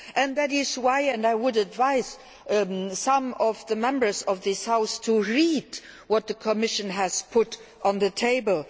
That is why I would advise some of the Members of this House to read what the Commission has put on the table.